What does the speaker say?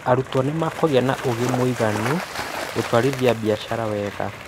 Arutwo nĩ makũgia na ũũgĩ mũiganu gũtwarithia biacara weega